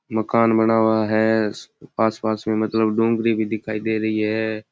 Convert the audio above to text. मकान बना हुआ है आसपास में मतलब डोंगरी भी दिखाई दे रही है।